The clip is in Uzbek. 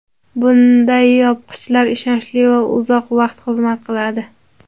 Bunday yopqichlar ishonchli va uzoq vaqt xizmat qiladi.